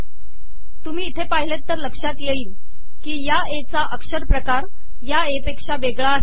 तुमही इथे पािहलेत तर लकात येईल की या ए चा अकरपकार या ए पेका वेगळा आहे